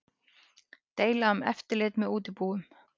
Deila um eftirlit með útibúum